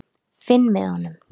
Finn með honum.